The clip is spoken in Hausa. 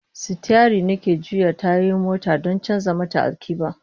Sitiyari ne ke juya tayoyin motar don canza mata alkiblah